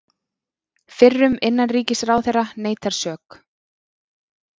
Fyrrum innanríkisráðherra neitar sök